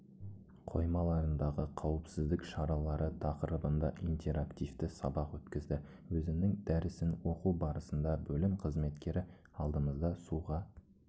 қоймаларындағы қауіпсіздік шаралары тақырыбында интерактивті сабақ өткізді өзінің дәрісін оқу барысында бөлім қызметкері алдымызда суға